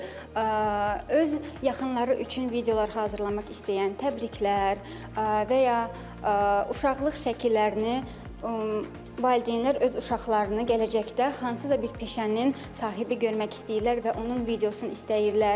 Öz yaxınları üçün videolar hazırlamaq istəyən təbriklər və ya uşaqlıq şəkillərini, valideynlər öz uşaqlarını gələcəkdə hansısa bir peşənin sahibi görmək istəyirlər və onun videosunu istəyirlər.